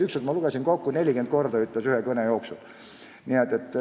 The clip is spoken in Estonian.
Ükskord ma lugesin kokku: 40 korda ütles seda ühe kõne jooksul.